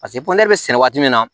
poze bɛ sɛnɛ waati min na